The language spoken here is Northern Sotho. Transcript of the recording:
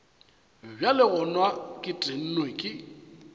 bjale gona ke tennwe ke